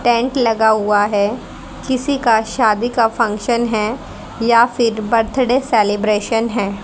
Tent लगा हुआ है किसी का शादी का फंक्शन हैं या फिर बर्थडे सेलिब्रेशन है।